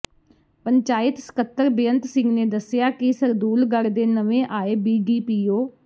ਪੰਚਾਇਤ ਸਕੱਤਰ ਬੇਅੰਤ ਸਿੰਘ ਨੇ ਦਸਿਆ ਕਿ ਸਰਦੂਲਗੜ੍ਹ ਦੇ ਨਵੇ ਆਏ ਬੀਡੀਪੀਓ